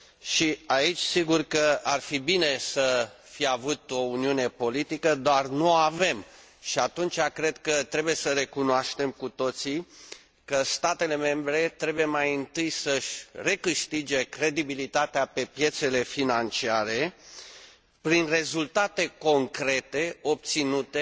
Și, aici, sigur că ar fi bine să fi avut o uniune politică, dar n o avem și, atunci, cred că trebuie să recunoaștem cu toții că statele membre trebuie, mai întâi, să și recâștige credibilitatea pe piețele financiare prin rezultate concrete, obținute